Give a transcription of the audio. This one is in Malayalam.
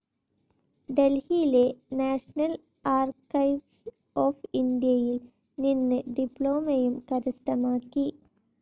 ഡൽഹിയിലെ നാഷണൽ ആർക്കൈവ്സ്‌ ഓഫ്‌ ഇന്ത്യയിൽ നിന്ന് ഡിപ്ലോമയും കരസ്ഥമാക്കി.